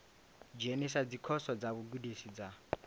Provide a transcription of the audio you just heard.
dzhenisa dzikhoso dza vhugudisi dza